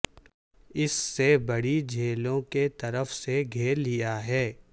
اس سے بڑی جھیلوں کی طرف سے گھیر لیا ہے